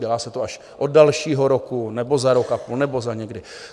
Dělá se to až od dalšího roku, nebo za rok a půl, nebo za někdy.